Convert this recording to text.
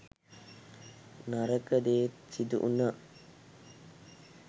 නරක දේත් සිදුවුනා.